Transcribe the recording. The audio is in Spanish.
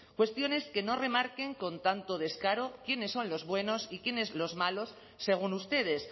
cuestiones que no remarquen con tanto descaro quiénes son los buenos y quiénes los malos según ustedes